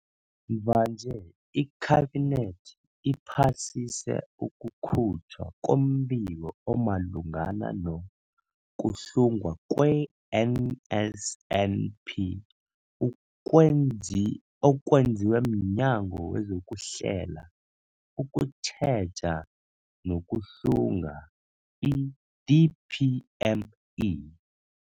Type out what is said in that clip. Mvanje, iKhabinethi iphasise ukukhutjhwa kombiko omalungana no-kuhlungwa kwe-NSNP ukwenzi okwenziwe mNyango wezokuHlela, ukuTjheja nokuHlunga, i-DPME.